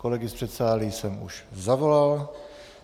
Kolegy z předsálí jsem už zavolal.